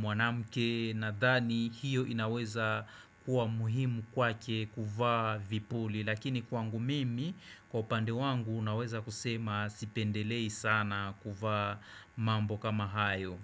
mwanamke, nadhani hiyo inaweza kuwa muhimu kwake kuvaa vipuli. Lakini kwangu mimi, kwa upande wangu, unaweza kusema sipendelei sana kuvaa mambo kama hayo.